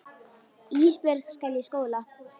Ísbjörg skal í skóla.